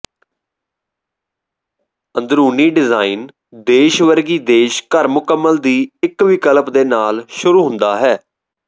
ਅੰਦਰੂਨੀ ਡਿਜ਼ਾਇਨ ਦੇਸ਼ ਵਰਗੀ ਦੇਸ਼ ਘਰ ਮੁਕੰਮਲ ਦੀ ਇੱਕ ਵਿਕਲਪ ਦੇ ਨਾਲ ਸ਼ੁਰੂ ਹੁੰਦਾ ਹੈ